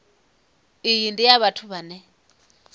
iyi ndi ya vhathu vhane